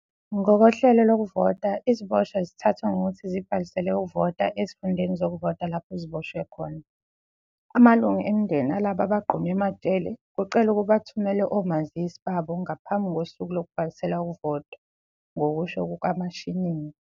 "Ngokohlelo lokuvota, iziboshwa zithathwa ngokuthi zibhalisele ukuvota ezifundeni zokuvota lapho ziboshwe khona. "Amalungu emindeni alabo abagqunywe emajele kucelwa ukuba athumele omazisi babo ngaphambi kosuku lokubhalisela ukuvota," ngokusho kukaMashinini.